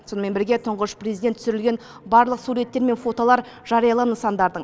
сонымен бірге тұңғыш президент түсірілген барлық суреттер мен фотолар жариялы нысандардың